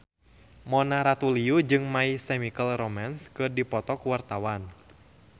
Mona Ratuliu jeung My Chemical Romance keur dipoto ku wartawan